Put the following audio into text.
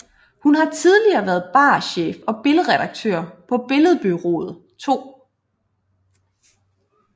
Han har tidligere været barchef og billedredaktør på Billedbureauet 2